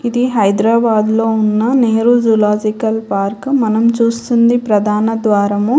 ఇది హైదరాబాద్లో ఉన్న నెహ్రు జూలాజికల్ పార్క్ . మనం చూస్తుంది ప్రధాన ద్వారము.